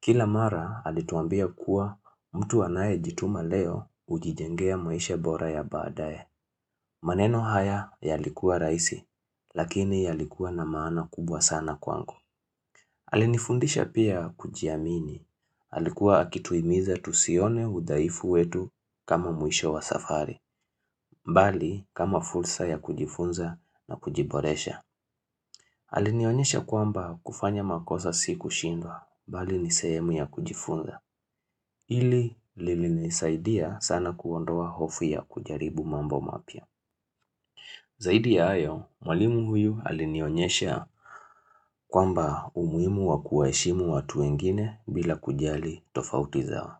Kila mara alituambia kuwa mtu anaye jituma leo hujijengea maisha bora ya badae. Maneno haya yalikuwa raisi, lakini yalikuwa na maana kubwa sana kwangu. Alinifundisha pia kujiamini. Alikuwa akituimiza tusione udhaifu wetu kama mwisho wa safari. Bali kama fursa ya kujifunza na kujiboresha. Alinionyesha kwamba kufanya makosa si kushindwa, bali nisehemu ya kujifunza. Hili lili nisaidia sana kuondoa hofu ya kujaribu mambo mapya. Zaidi ya hayo, mwalimu huyu alinionyesha kwamba umuhimu wa kuwa heshimu watu wengine bila kujali tofauti zao.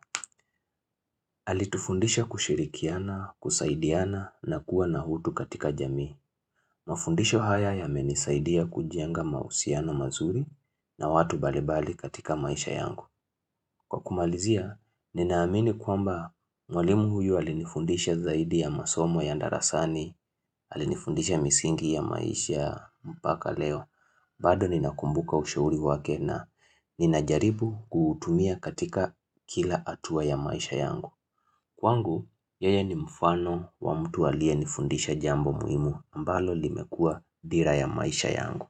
Alitufundisha kushirikiana, kusaidiana na kuwa na hutu katika jamii. Mafundisho haya yamenisaidia kujenga mahusiano mazuri na watu balibali katika maisha yangu. Kwa kumalizia, ninaamini kwamba mwalimu huyu alinifundisha zaidi ya masomo ya darasani, alinifundisha misingi ya maisha mpaka leo, bado nina kumbuka ushauri wake na ninajaribu kutumia katika kila hatua ya maisha yangu. Kwangu, yeye ni mfano wa mtu alie nifundisha jambo muhimu ambalo limekua dhira ya maisha yangu.